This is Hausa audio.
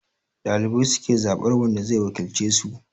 Dalibai su ke zabar wanda zai wakilce su